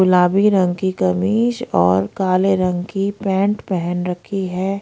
गुलाबी रंग की कमीज और काले रंग की पेंट पेहन रखी है।